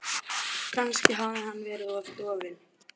Kannski hafði hann verið of dofinn.